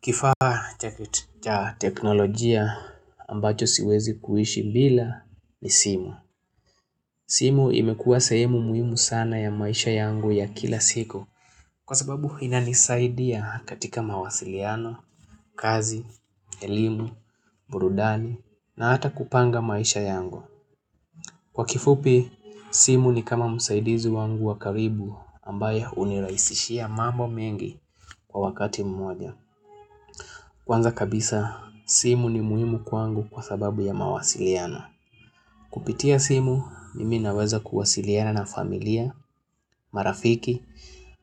Kifaa chakit cha teknolojia ambacho siwezi kuishi bila ni simu. Simu imekuwa sehemu muhimu sana ya maisha yangu ya kila siku. Kwa sababu inanisaidia katika mawasiliano, kazi, elimu, burudani, na hata kupanga maisha yangu. Kwa kifupi, simu ni kama msaidizi wangu wa karibu ambaye hunirahisishia mambo mengi kwa wakati mmoja. Kwanza kabisa, simu ni muhimu kwangu kwa sababu ya mawasiliano. Kupitia simu, mimi naweza kuwasiliana na familia, marafiki,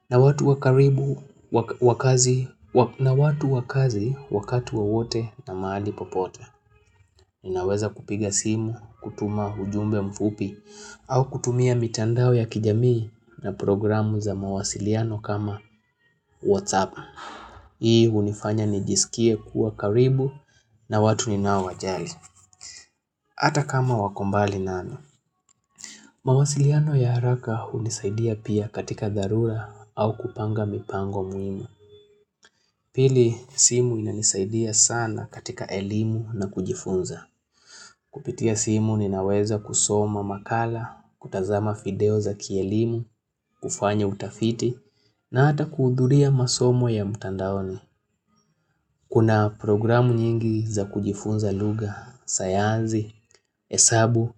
na watu wa karibu, wa kazi, na watu wa kazi wakati wowote na mahali popote. Ninaweza kupiga simu, kutuma ujumbe mfupi, au kutumia mitandao ya kijamii na programu za mawasiliano kama WhatsApp. Hii hunifanya nijisikie kuwa karibu na watu ninaowajali. Hata kama wako mbali nami. Mawasiliano ya haraka hunisaidia pia katika dharura au kupanga mipango muhimu. Pili, simu inanisaidia sana katika elimu na kujifunza. Kupitia simu, ninaweza kusoma makala, kutazama video za kielimu, kufanya utafiti, na hata kuhudhuria masomo ya mtandaoni. Kuna programu nyingi za kujifunza lugha, sayansi, hesabu,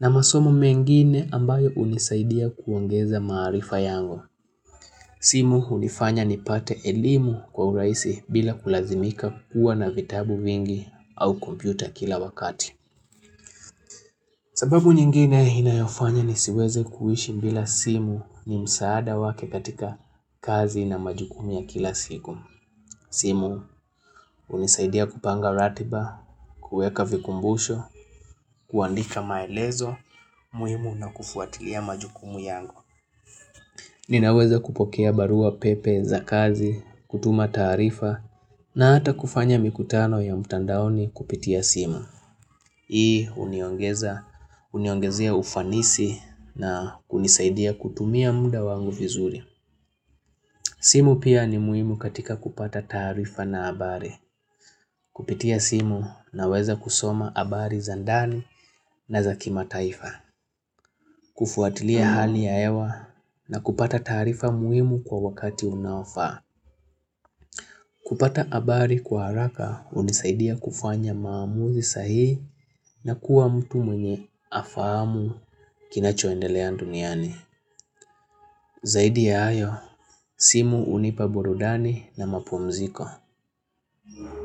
na masomo mengine ambayo hunisaidia kuongeza maarifa yangu. Simu hunifanya nipate elimu kwa urahisi bila kulazimika kuwa na vitabu vingi au kompyuta kila wakati. Sababu nyingine inayofanya nisiweze kuishi bila simu ni msaada wake katika kazi na majukumu ya kila siku. Simu hunisaidia kupanga ratiba, kuweka vikumbusho, kuandika maelezo muhimu, na kufuatilia majukumu yangu. Ninaweza kupokea barua pepe za kazi, kutuma taarifa, na hata kufanya mikutano ya mtandaoni kupitia simu. Hii huniongeza, huniongezea ufanisi na kunisaidia kutumia muda wangu vizuri. Simu pia ni muhimu katika kupata taarifa na habari. Kupitia simu naweza kusoma habari za ndani na za kimataifa. Kufuatilia hali ya hewa na kupata taarifa muhimu kwa wakati unaofaa. Kupata habari kwa haraka hunisaidia kufanya maamuzi sahihi na kuwa mtu mwenye afahamu kinachoendelea duniani. Zaidi ya hayo, simu hunipa burudani na mapumziko.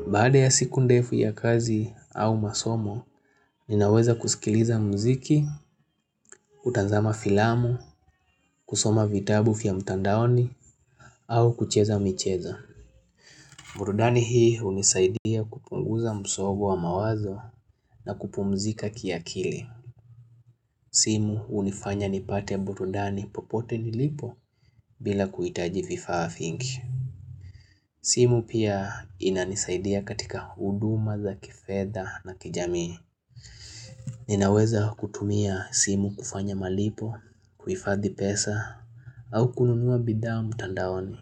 Baada ya siku ndefu ya kazi au masomo, ninaweza kusikiliza muziki, kutazama filamu, kusoma vitabu vya mtandaoni, au kucheza michezo. Burudani hii hunisaidia kupunguza msongo wa mawazo na kupumzika kiakili. Simu hunifanya nipate burudani popote nilipo bila kuhitaji vifaa vingi. Simu pia inanisaidia katika huduma za kifedha na kijamii. Ninaweza kutumia simu kufanya malipo, kuhifadhi pesa, au kununua bidhaa mtandaoni.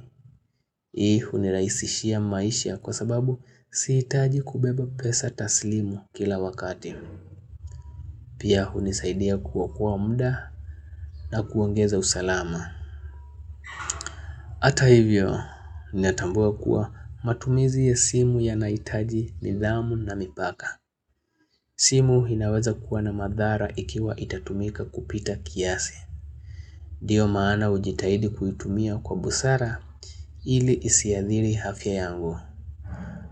Hii hunirahisishia maisha kwa sababu sihitaji kubeba pesa taslimu kila wakati. Pia hunisaidia kuokoa muda na kuongeza usalama. Hata hivyo, ninatambua kuwa matumizi ya simu yanahitaji nidhamu na mipaka. Simu inaweza kuwa na madhara ikiwa itatumika kupita kiasi. Ndiyo maana hujitahidi kuitumia kwa busara ili isiathiri afya yangu,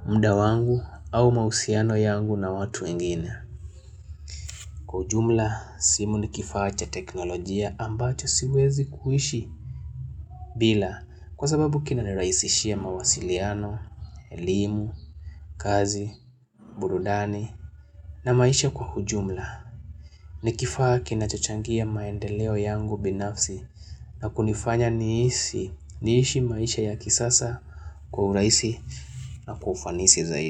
muda wangu, au mahusiano yangu na watu wengine. Kwa ujumla, simu ni kifaa cha teknolojia ambacho siwezi kuishi bila kwa sababu kinanirahisishia mawasiliano, elimu, kazi, burudani, na maisha kwa ujumla. Ni kifaa kinachochangia maendeleo yangu binafsi na kunifanya niisi niishi maisha ya kisasa kwa urahisi na kwa ufanisi zaidi.